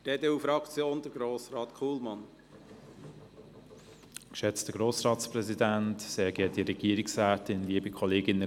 Bei mir hat das Lämpchen diese Session bereits mehrfach geblinkt.